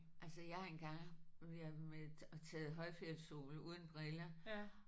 Altså jeg har en gang været med og og taget højfjeldssol uden briller